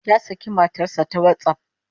Ya saki matar sa ta WhatsApp